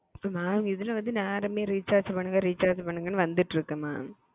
இதுல வந்து recharge recharge பண்ணுங்க வந்து இருக்கு mam